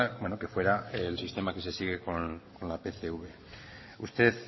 bueno que fuera el sistema que se sigue con la pcv usted